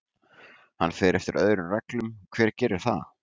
Hann fer eftir öðrum reglum, hver gerir það?